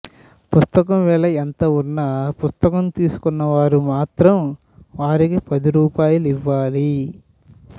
పుస్తకం వెల ఎంత వున్నా పుస్తకం తీసుకున్నవారు మాత్రం వారికి పది రూపాయలివ్వాలి